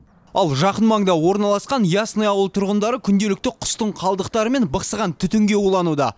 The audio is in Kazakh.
ал жақын маңда орналасқан ясное ауыл тұрғындары күнделікті құстың қалдықтары мен бықсыған түтінге улануда